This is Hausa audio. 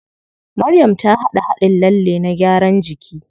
Maryam ta haɗa haɗin lalle na gyaran jiki.